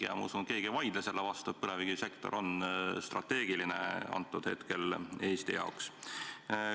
Ja ma usun, et keegi ei vaidle vastu, et põlevkivisektor on Eesti jaoks praegu strateegiline.